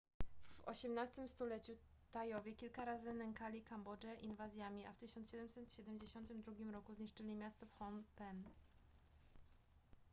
w osiemnastym stuleciu tajowie kilka razy nękali kambodżę inwazjami a w 1772 roku zniszczyli miasto phnom penh